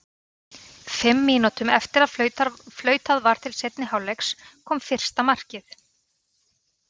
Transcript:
Fimm mínútum eftir að flautað var til seinni hálfleiks kom fyrsta markið.